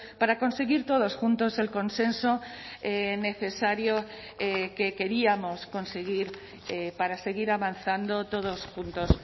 para conseguir todos juntos el consenso necesario que queríamos conseguir para seguir avanzando todos juntos